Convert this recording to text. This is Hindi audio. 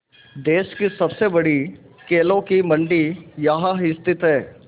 देश की सबसे बड़ी केलों की मंडी यहाँ स्थित है